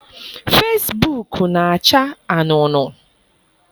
Fesibuuku na-acha anuunuu.